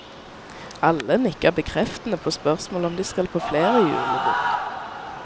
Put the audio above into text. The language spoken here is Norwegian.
Alle nikker bekreftende på spørsmål om de skal på flere julebord.